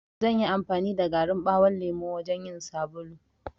Zanyi amfani da garin ɓawon lemo wajan yin sabulu.